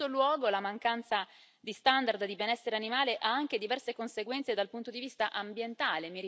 In terzo luogo, la mancanza di standard sul benessere animale ha anche diverse conseguenze dal punto di vista ambientale.